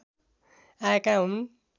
आएका हुन्